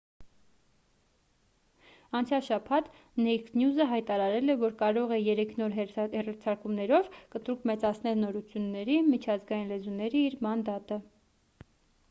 անցյալ շաբաթ naked news-ը հայտարարել է որ կարող է երեք նոր հեռարձակումներով կտրուկ մեծացնել նորությունների` միջազգային լեզուների իր մանդատը: